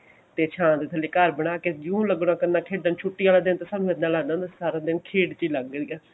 ਤੇ ਛਾਂ ਦੇ ਥੱਲੇ ਘਰ ਬਣਾਕੇ ਜੁੰ ਲਗਿਆ ਕਰਨਾ ਖੇਡਣ ਛੁੱਟੀ ਆਲੇ ਦਿਨ ਤਾਂ ਸਾਨੂੰ ਏਦਾਂ ਲਗਦਾ ਹੁੰਦਾ ਸੀ ਸਾਰਾ ਦਿਨ ਖੇਡ ਚ ਹੀ ਲਗ ਜੁਗਾ